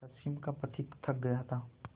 पश्चिम का पथिक थक गया था